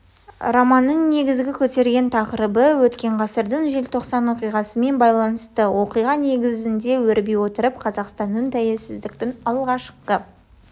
романның негізгі көтерген тақырыбы өткен ғасырдың желтоқсан оқиғасымен байланысты оқиға негізінде өрби отырып қазақстанның тәулесіздіктің алғашқы